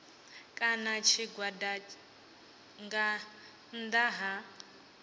kana tshigwada nga nnḓa ha